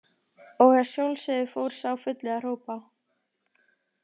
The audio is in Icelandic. Og að sjálfsögðu fór sá fulli að hrópa.